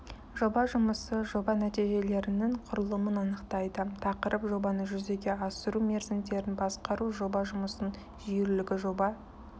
жоба жұмысы жоба нәтижелерінің құрылымын анықтайды тақырып жобаны жүзеге асыру мерзімдерін басқару жоба жұмысының жүйелілігі жоба